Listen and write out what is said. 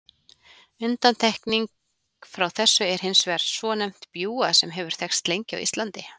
Undantekning frá þessu er hins vegar svonefnt bjúga sem hefur þekkst lengi á Íslandi.